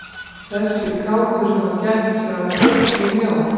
Þessi kálfur hefur gætt sér á bleikri mjólk!